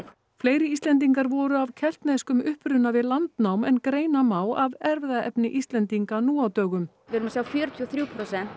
fleiri Íslendingar voru af keltneskum uppruna við landnám en greina má af erfðaefni Íslendinga nú á dögum við erum að sjá fjörutíu og þrjú prósent